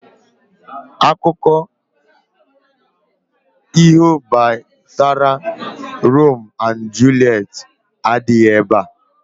Akuko iho gbasara Rome and Juliet adighi ebea